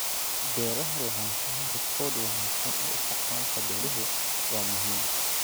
Beeraha Lahaanshaha rikoodh wanaagsan ee isticmaalka beeruhu waa muhiim.